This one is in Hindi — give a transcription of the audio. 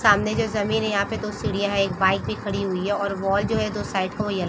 सामने जो जमीन है यहाँ पे दो सीढ़िया है एक बाइक भी खाड़ी हुई है और वाल जो है साइड की है जो येलो --